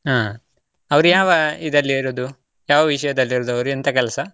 ಹಾ, ಅವರು ಯಾವ ಇದರಲ್ಲಿ ಇರೋದು? ಯಾವ ವಿಷಯದಲ್ಲಿ ಇರೋದು ಅವರು? ಎಂಥ ಕೆಲಸ?